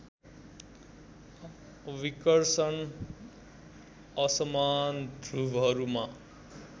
विकर्षण असमान ध्रुवहरूमा